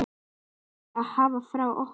Það máttu hafa frá okkur.